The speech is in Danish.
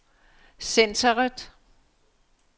centreret